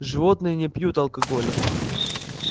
животные не пьют алкоголя